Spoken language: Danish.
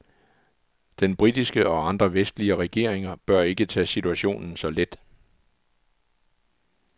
Den britiske og andre vestlige regeringer bør ikke tage situationen så let.